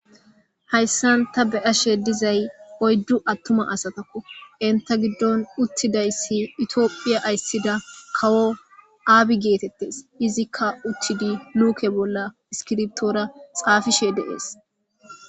Hayssan ta beyashe dizay oyddu attuma asatakko enta giddon uttidayssi itioophiya ayssida kawo aabi geetettes izikka uchchidi luuke bolla iskirbtoora xaafishe deees.